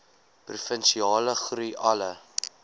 provinsiale groei alle